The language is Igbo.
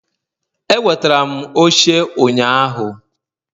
Ewetara m oche ụnyaahụ